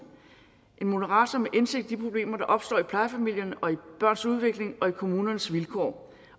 en moderator med indsigt i de problemer der opstår i plejefamilierne og i børns udvikling og i kommunernes vilkår